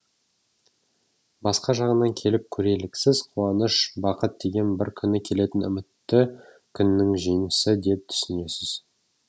басқа жағынан келіп көрелік сіз қуаныш бақыт деген бір күні келетін үмітті күннің жемісі деп түсінесіз